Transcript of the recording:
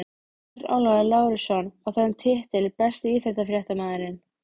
Bjarnólfur Lárusson á þennan titil Besti íþróttafréttamaðurinn?